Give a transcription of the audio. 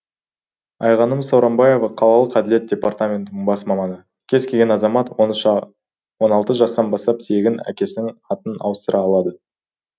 айғаным сауранбаева қалалық әділет департаментінің бас маманы кез келген азамат он алты жастан бастап тегін әкесінің атын ауыстыра алады